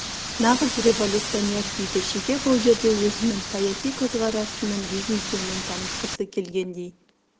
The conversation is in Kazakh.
нағыз революционер деді шеге бұл жерде өзінің саяси көзқарасының биік екенін танытқысы келгендей